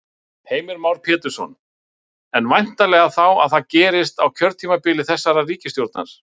Heimir Már Pétursson: En væntanlega þá að það gerist á kjörtímabili þessarar ríkisstjórnar?